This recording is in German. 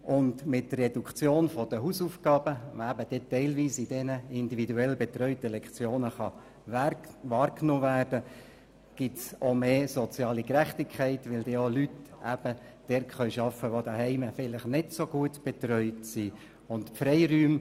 Mit der Reduktion der Hausaufgaben, die teilweise durch diese individuell betreuten Lektionen möglich sein wird, wird die soziale Gerechtigkeit gestärkt, weil auch diejenigen Kinder gefördert werden, die zu Hause vielleicht nicht so viel Unterstützung erhalten.